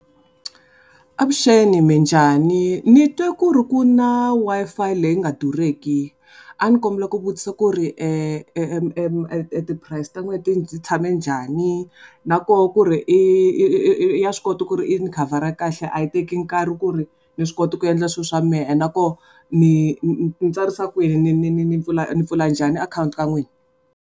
Avuxeni minjhani, ni twe ku ri kuna Wi-Fi leyi nga durheki. A ni kombela ku vutisa ku ri ti price ta n'we ti tshame njani? Na koho ku ri ya swi kota ku ri yi ni khavara kahle a yi teki nkarhi ku ri, ni swi kota ku endla swilo swa mehe and na koho, ni ni tsarisa kwini ni ni ni ni pfula ni pfula njhani account ka n'wina?